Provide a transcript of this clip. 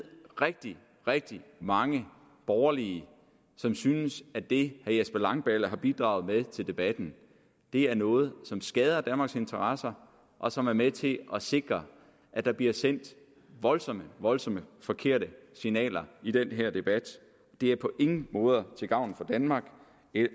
rigtig rigtig mange borgerlige som synes at det herre jesper langballe har bidraget med til debatten er noget som skader danmarks interesser og som er med til at sikre at der bliver sendt voldsomt voldsomt forkerte signaler i den her debat det er på ingen måde til gavn for danmark og